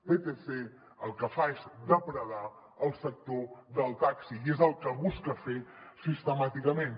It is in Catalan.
vtc el que fa és depredar el sector del taxi i és el que busca fer sistemàticament